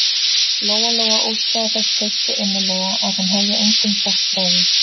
Lóa-Lóa óskaði þess heitt og innilega að hún hefði engum sagt frá því.